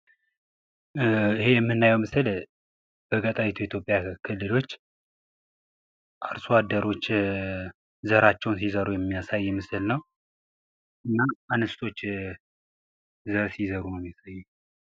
ይህ የምናየው ምስል በኢትዮጵያ የገጠሪቱ ክልል አርሶአደሮች ዘራቸውን ሲዘሩ የሚያሳይ ምስል ነው። እና እንስቶች ዘር ሲዘሩ።